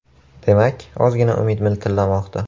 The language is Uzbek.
Demak, ozgina umid miltillamoqda.